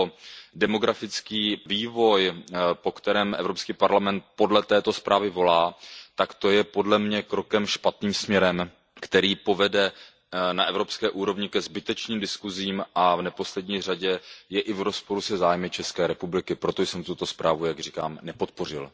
o demografický vývoj, po kterém EP podle této zprávy volá, tak to je podle mne krok špatným směrem, který povede na evropské úrovni ke zbytečným diskuzím a v neposlední řadě je i v rozporu se zájmy ČR. Proto jsem tuto zprávu, jak říkám, nepodpořil.